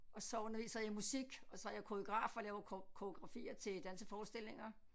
Og så underviser jeg i musik og så er jeg koreograf og laver koreografier til danseforestillinger